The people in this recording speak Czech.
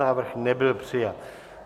Návrh nebyl přijat.